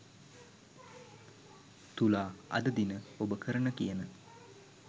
තුලා අද දින ඔබ කරන කියන